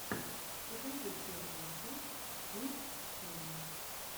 покажи первую часть хим тима